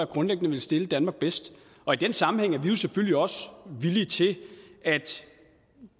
grundlæggende vil stille danmark bedst og i den sammenhæng er vi selvfølgelig også villige til at